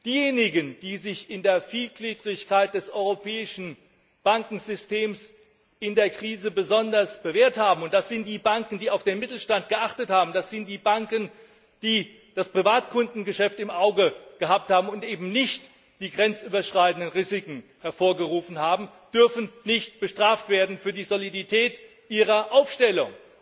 Diejenigen, die sich in der Vielgliedrigkeit des europäischen Bankensystems in der Krise besonders bewährt haben und das sind die Banken, die auf den Mittelstand geachtet haben, das sind die Banken, die das Privatkundengeschäft im Auge gehabt haben und eben nicht die grenzüberschreitenden Risiken hervorgerufen haben dürfen nicht bestraft werden für die Solidität ihrer Aufstellung.